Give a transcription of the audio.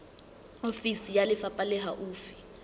ofisi ya lefapha le haufi